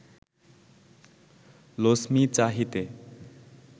Lachhmi চাহিতে